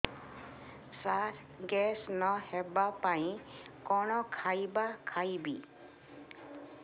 ସାର gas ନ ହେବା ପାଇଁ କଣ ଖାଇବା ଖାଇବି